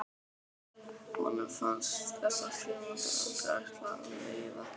Honum fannst þessar frímínútur aldrei ætla að líða.